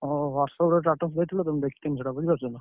ହଁ WhatsApp ରେ status ଦେଇଥିଲ ତ ମୁଁ ଦେଖିଥିଲି ସେଇଟା ବୁଝିପାଇଲନା।